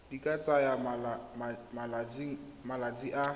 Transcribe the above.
di ka tsaya malatsi a